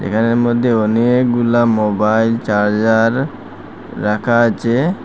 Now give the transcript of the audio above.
এখানের মধ্যে অনেকগুলা মোবাইল চার্জার রাখা আছে।